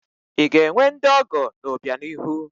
I ga-enwe ndị ọgọ n'obianihu?